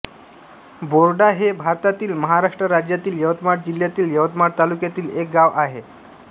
बोरडा हे भारतातील महाराष्ट्र राज्यातील यवतमाळ जिल्ह्यातील यवतमाळ तालुक्यातील एक गाव आहे